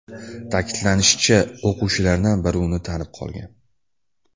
Ta’kidlanishicha, o‘quvchilardan biri uni tanib qolgan.